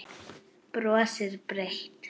Brosir breitt.